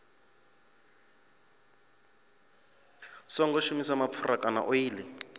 songo shumisa mapfura kana oḽi